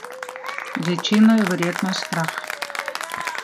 Večino je verjetno strah.